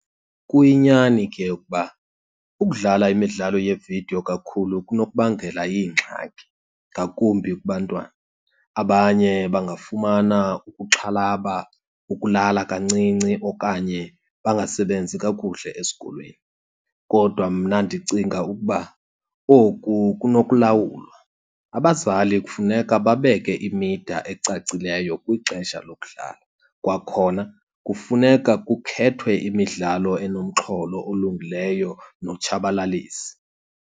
Kuyinyani ke ukuba ukudlala imidlalo yeevidiyo kakhulu kunokubangela iingxaki ngakumbi kubantwana. Abanye bangafumana ukuxhalaba, ukulala kancinci, okanye bangasebenzi kakuhle esikolweni. Kodwa mna ndicinga ukuba oku kunokulawulwa. Abazali kufuneka babeke imida ecacileyo kwixesha lokudlala. Kwakhona, kufuneka kukhethwe imidlalo enomxholo olungileyo notshabalalisa.